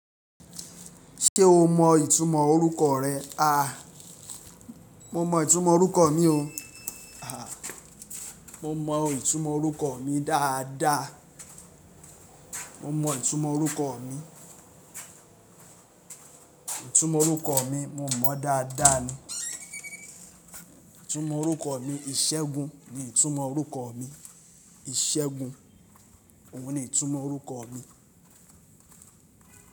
Ṣé o mọ ìtumọ̀ orúkọ rẹ? Ah! Mo mọ ìtumọ̀ orúkọ mi o. Àh, mo mọ ìtumọ̀ orúkọ mi dáadáa. Mo mọ ìtumọ̀ orúkọ mi. Ìtumọ̀ orúkọ mi, mo mọ dáadáa ni. Ìtumọ̀ orúkọ mi, Ìṣẹ́gun ni ìtumọ̀ orúkọ mi. Ìṣẹ́gun, òun ni ìtumọ̀ orúkọ mi.